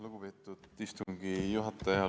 Lugupeetud istungi juhataja!